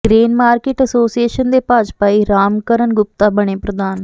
grain market association ਦੇ ਭਾਜਪਾਈ ਰਾਮ ਕਰਨ ਗੁਪਤਾ ਬਣੇ ਪ੍ਰਧਾਨ